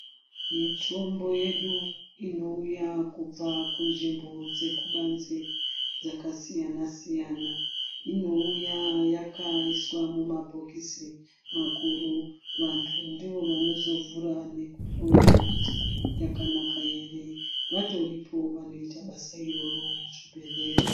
Mitombo yedu inouya kubvakumzvimbo dzekubanze dzakasiyana siyana inouya yakaiswa mumabhokisi makuru vanthu ndivo vanozovhura nekuhloya kuti yakanaka ere vatoripo vanoite basa iroro muchibhedhlera.